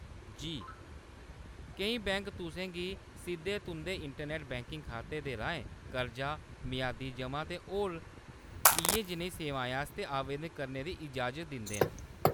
जी, केईं बैंक तुसें गी सिद्धे तुंʼदे इंटरनैट्ट बैंकिंग खाते दे राहें कर्जा, मेआदी ज'मा ते होर इ'यै जनेहियें सेवाएं आस्तै आवेदन करने दी इजाज़त दिंदे न।